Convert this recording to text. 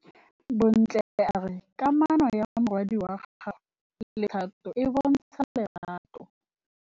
Bontle a re kamanô ya morwadi wa gagwe le Thato e bontsha lerato.